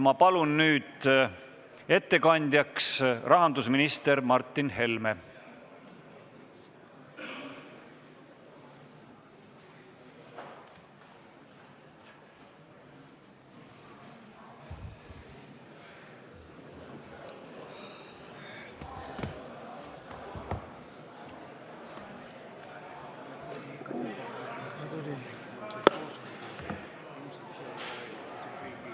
Ma palun nüüd ettekandjaks rahandusminister Martin Helme!